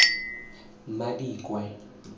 madikwe